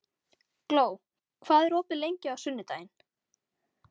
Gló, hvað er opið lengi á sunnudaginn?